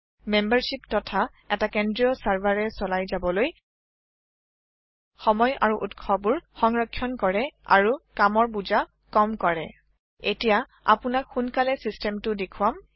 membership তথা এটা কেন্দ্ৰীয় চাৰভাৰেৰে চলাই যাবলৈ সময় আৰু উৎসবোৰ সংৰখ্যণ কৰে আৰু কামৰ বোজা কম কৰে এটিয়া আপোনাক সোনকালে চিচতেমটো দেখুৱাম